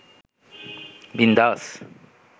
বিন্দাস